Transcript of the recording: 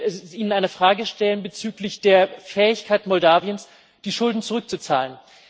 Ich möchte Ihnen eine Frage stellen bezüglich der Fähigkeit Moldaus, die Schulden zurückzuzahlen.